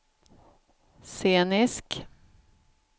scenisk